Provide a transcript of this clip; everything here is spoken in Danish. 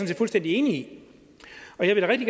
set fuldstændig enig i og jeg vil